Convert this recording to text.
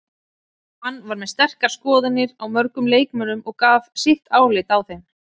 Hann var með sterkar skoðanir á mörgum leikmönnum og gaf sitt álit á þeim.